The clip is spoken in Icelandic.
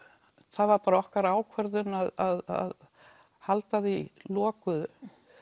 það var bara okkar ákvörðun að halda því lokuðu